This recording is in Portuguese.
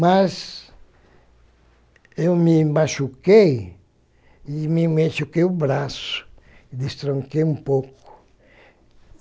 Mas eu me machuquei e me machuquei o braço, destronquei um pouco.